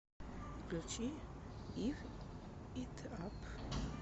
включи гив ит ап